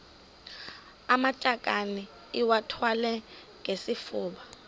amatakane iwathwale ngesifuba